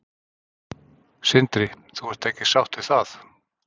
Sindri: Þú ert ekki sátt við það?